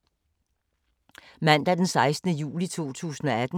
Mandag d. 16. juli 2018